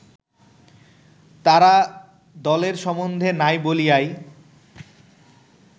তারাদলের সম্বন্ধ নাই বলিয়াই